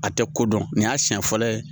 A tɛ ko dɔn nin y'a siɲɛ fɔlɔ ye.